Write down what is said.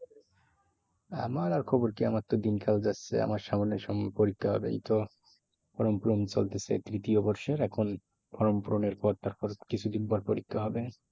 আমার আর খবর কি? আমার তো দিনকাল যাচ্ছে আমার তো সামনে পরীক্ষা হবে এই তো form পূরণ চলতেছে তৃতীয় বর্ষের এখন form পূরনের পর তারপর কিছুদিন পর পরীক্ষা হবে।